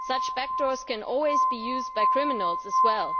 Such backdoors can always be used by criminals as well.